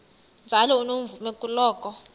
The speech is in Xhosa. njalo unomvume kuloko